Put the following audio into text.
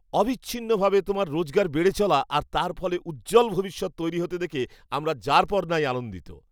অবিচ্ছিন্নভাবে তোমার রোজগার বেড়ে চলা আর তার ফলে উজ্জ্বল ভবিষ্যৎ তৈরি হতে দেখে আমরা যারপরনাই আনন্দিত!